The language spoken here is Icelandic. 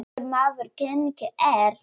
Góður maður genginn er.